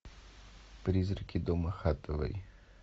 призраки дома хатэвэй